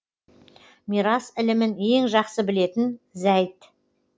мирас ілімін ең жақсы білетін зәйд